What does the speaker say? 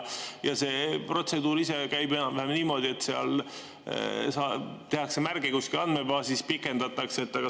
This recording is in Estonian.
See protseduur käib enam-vähem niimoodi, et tehakse märge kuskile andmebaasi, et pikendatakse.